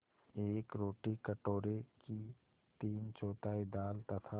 एक रोटी कटोरे की तीनचौथाई दाल तथा